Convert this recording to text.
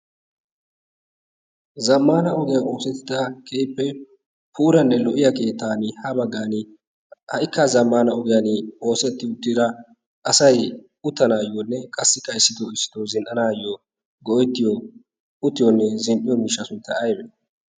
zammana ogiyaa oosettida kehippe puuranne lo"iya keettan ha baggan ha"ikka zammana ogiyan oosetti uttira asai uttanaayyoonne qassi kaissido issido zin"anaayyo go'ettiyo uttiyoonne zin"iyo miisha suntta aybe?